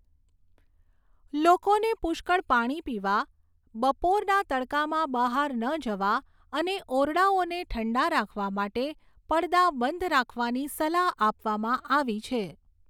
લોકોને પુષ્કળ પાણી પીવા, બપોરના તડકામાં બહાર ન જવા અને ઓરડાઓને ઠંડા રાખવા માટે પડદા બંધ રાખવાની સલાહ આપવામાં આવી છે.